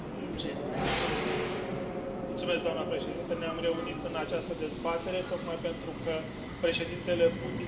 Doamnă președintă, ne am reunit în această dezbatere tocmai pentru că Președintele Putin este nemulțumit de activitatea noastră.